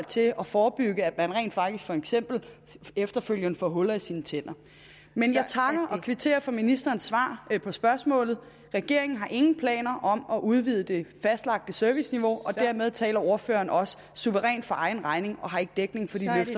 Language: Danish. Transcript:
til at forebygge at man rent faktisk for eksempel efterfølgende får huller i sine tænder men jeg takker og kvitterer for ministerens svar på spørgsmålet regeringen har ingen planer om at udvide det fastlagte serviceniveau og derved taler ordføreren også suverænt for egen regning og har ikke dækning